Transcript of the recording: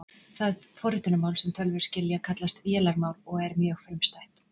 Það forritunarmál sem tölvur skilja kallast vélarmál og er mjög frumstætt.